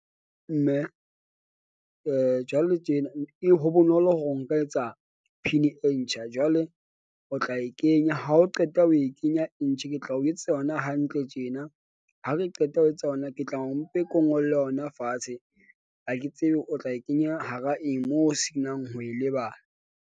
Mme jwale tjena e ho bonolo hore o nka etsa PIN-i e ntjha jwale o tla e kenya ha o qeta ho e kenya e ntjha ke tla o etsetsa yona hantle tjena. Ha re qeta ho etsa yona, ke tla o mpe ko ngolle yona fatshe. Ha ke tsebe o tla e kenya hara eng moo o senang ho e lebala.